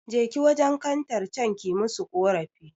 Jeki wajen kantar can ki musu ƙorafi